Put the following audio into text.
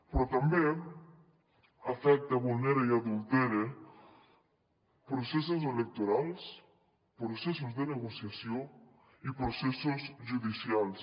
però també afecta vulnera i adultera processos electorals processos de negociació i processos judicials